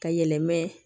Ka yɛlɛma